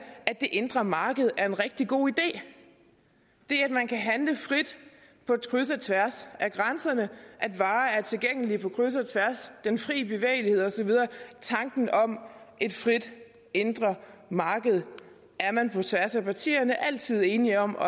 indre marked er en rigtig god idé det at man kan handle frit på kryds og tværs af grænserne at varer er tilgængelige på kryds og tværs den frie bevægelighed osv tanken om et frit indre marked er man på tværs af partierne altid enige om at